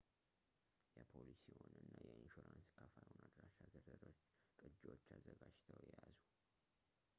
የፖሊሲዎን እና የኢንሹራንስ ከፋይዎን አድራሻ ዝርዝሮች ቅጅዎች አዘጋጅተው ይያዙ